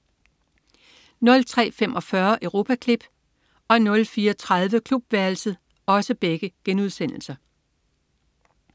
03.45 Europaklip* 04.30 Klubværelset*